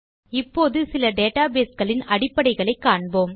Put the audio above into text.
இப்போது சில டேட்டாபேஸ் களின் அடிப்படைகளை காண்போம்